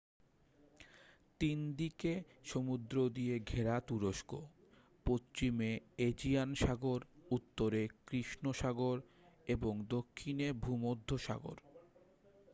3দিকে সমুদ্র দিয়ে ঘেরা তুরস্ক পশ্চিমে এজিয়ান সাগর উত্তরে কৃষ্ণ সাগর এবং দক্ষিণে ভূমধ্যসাগর